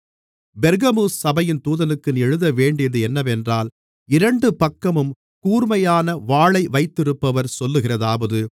பெர்கமு சபையின் தூதனுக்கு நீ எழுதவேண்டியது என்னவென்றால் இரண்டு பக்கமும் கூர்மையான வாளை வைத்திருப்பவர் சொல்லுகிறதாவது